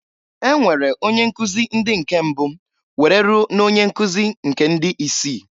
E nwere onye nkuzị ndị nke mbụ were rue na onyenkuzi nke ndị isii.